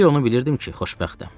Bir onu bilirdim ki, xoşbəxtəm.